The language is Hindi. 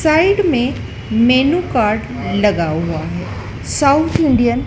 साइड मे मेनू कार्ड लगा हुआ है साउथ इंडियन --